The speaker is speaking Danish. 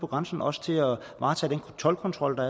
grænsen også til at varetage den toldkontrol der